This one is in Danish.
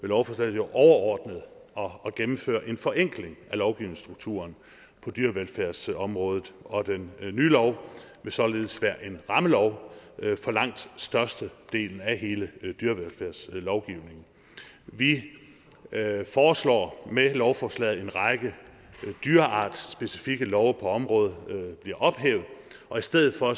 lovforslaget jo overordnet at gennemføre en forenkling af lovgivningsstrukturen på dyrevelfærdsområdet og den nye lov vil således være en rammelov for langt størstedelen af hele dyrevelfærdslovgivningen vi foreslår med lovforslaget at en række dyreartsspecifikke love på området bliver ophævet og i stedet for